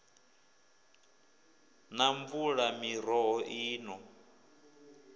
na mvula miroho i no